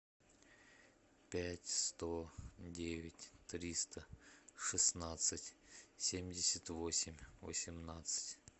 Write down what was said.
пять сто девять триста шестнадцать семьдесят восемь восемнадцать